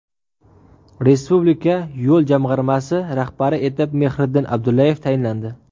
Respublika yo‘l jamg‘armasi rahbari etib Mehriddin Abdullayev tayinlandi.